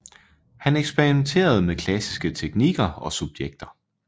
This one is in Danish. Han eksperimenterede med klassiske teknikker og subjekter